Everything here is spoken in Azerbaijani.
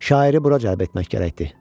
Şairi bura cəlb etmək gərəkdir.